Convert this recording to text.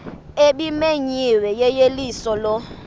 ebimenyiwe yeyeliso lo